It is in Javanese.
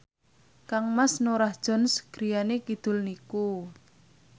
kangmas Norah Jones griyane kidul niku